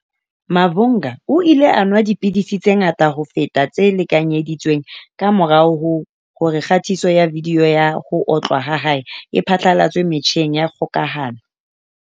Mavhunga o ile a nwa dipidisi tse ngata ho feta tse lekanyedi tsweng kamora hore kgatiso ya vidiyo ya ho otlwa ha hae e phatlalatswe metjheng ya kgokahano.